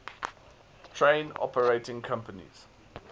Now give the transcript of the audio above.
train operating companies